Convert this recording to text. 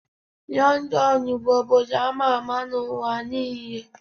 London bụ obodo ama ama n'ụwa niile